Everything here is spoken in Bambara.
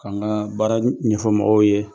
An ka baara ɲɛfɔ mɔgɔw ye